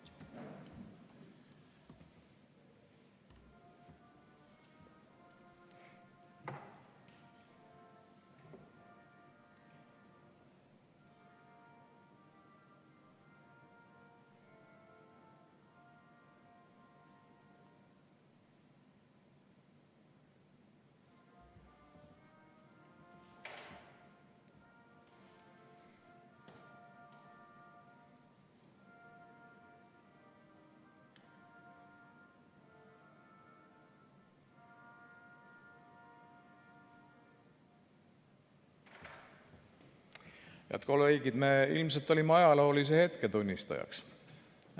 Head kolleegid, me ilmselt olime ajaloolise hetke tunnistajaks.